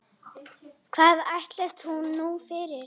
Hvað ætlast hún nú fyrir?